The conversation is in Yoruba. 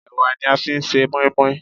Ẹ̀wà ni a fi ń ṣe mọ́ínmọ́ín.